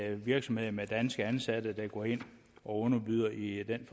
er virksomheder med danske ansatte der går ind og underbyder i den